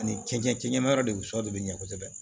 Ani cɛncɛn cɛncɛn ɲɛma yɔrɔ de sɔ de bɛ ɲɛ kosɛbɛ